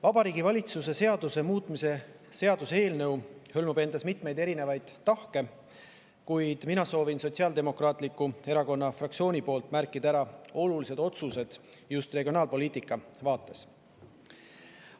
Vabariigi Valitsuse seaduse muutmise seaduse eelnõu hõlmab mitmeid tahke, kuid mina soovin Sotsiaaldemokraatliku Erakonna fraktsiooni nimel märkida ära olulised otsused just regionaalpoliitikas.